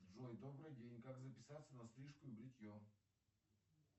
джой добрый день как записаться на стрижку и бритье